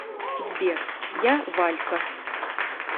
сбер я валька